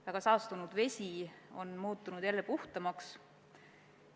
Väga saastunud vesi on muutunud jälle puhtamaks.